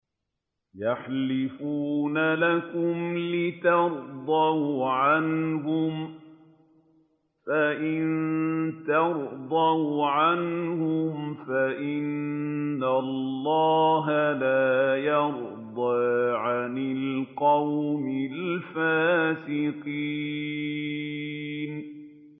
يَحْلِفُونَ لَكُمْ لِتَرْضَوْا عَنْهُمْ ۖ فَإِن تَرْضَوْا عَنْهُمْ فَإِنَّ اللَّهَ لَا يَرْضَىٰ عَنِ الْقَوْمِ الْفَاسِقِينَ